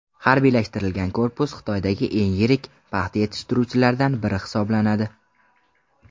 Harbiylashtirilgan korpus Xitoydagi eng yirik paxta yetishtiruvchilardan biri hisoblanadi.